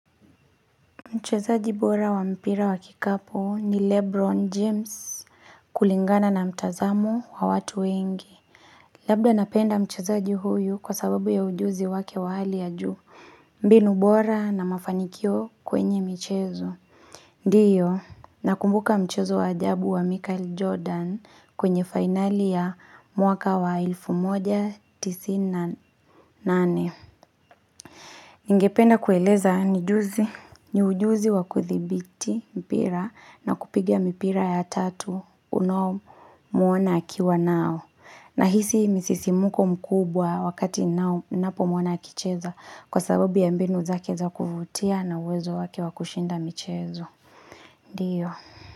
Mchezaji bora wa mpira wa kikapu ni Lebron James kulingana na mtazamo wa watu wengi. Labda napenda mchezaji huyu kwa sababu ya ujuzi wake wa hali ya juu. Mbinu bora na mafanikio kwenye michezo. Ndiyo, nakumbuka mchezo wa ajabu wa Michael Jordan kwenye fainali ya mwaka wa elfu moja tisini na nane. Ningependa kueleza ni juzi, ni ujuzi wa kuthibiti mpira na kupiga mipira ya tatu unaomwona akiwa nao. Nahisi misisimuko mkubwa wakati nao napomwona akicheza kwa sababu ya mbinu zake za kuvutia na uwezo wake wa kushinda michezo. Ndiyo.